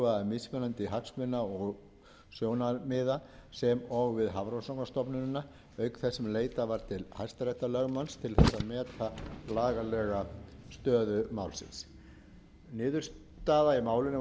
mismunandi hagsmuna og sjónarmiða sem og við hafrannsóknastofnunina auk þess sem leitað var til hæstaréttarlögmanns til þess að meta lagalega stöðu málsins niðurstaða í málinu var